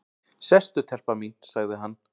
"""Sestu telpa mín, sagði hann."""